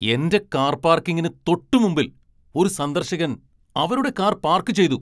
എന്റെ കാർ പാർക്കിങ്ങിന് തൊട്ടുമുമ്പിൽ ഒരു സന്ദർശകൻ അവരുടെ കാർ പാർക്ക് ചെയ്തു.